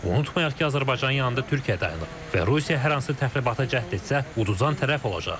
Unutmayaq ki, Azərbaycanın yanında Türkiyə dayanıb və Rusiya hər hansı təxribata cəhd etsə, udan tərəf olacaq.